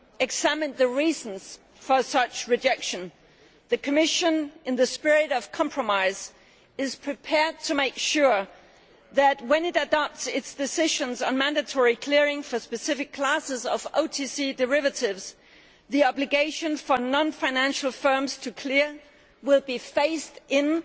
examined the reasons for such rejection the Commission, in the spirit of compromise, is prepared to make sure that when it adopts its decisions on mandatory clearing for specific classes of OTC derivatives, the obligation for non financial firms to clear will be phased in